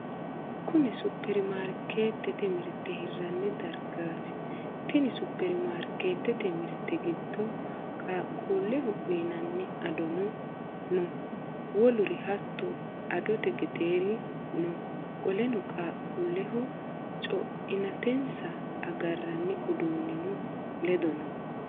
Kunni superimaarikeetete mirte hiranni dargaati. Tenni superimaarikeetete mirte gido qaqquleho uyinanni adonno no. Woluri hatto adote gedeeri no. Qoleno qaaqquuleho co'inaatensa agaranni uduunnino ledo no.